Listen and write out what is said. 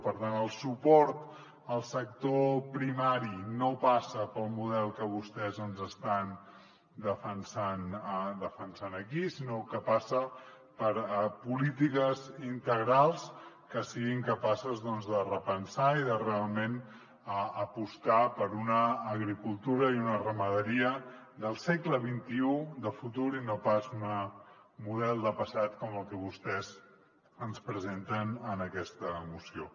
per tant el suport al sector primari no passa pel model que vostès ens estan de·fensant aquí sinó que passa per polítiques integrals que siguin capaces doncs de repensar i de realment apostar per una agricultura i una ramaderia del segle xxi de futur i no pas un model de passat com el que vostès ens presenten en aquesta moció